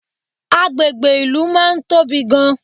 Agbègbè ìlú máa ń tóbi gan